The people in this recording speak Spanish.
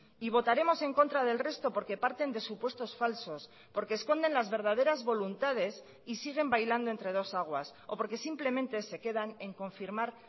y votaremos en contra del resto porque parten de supuestos falsos porque esconden las verdaderas voluntades y siguen bailando entre dos aguas o porque simplemente se quedan en confirmar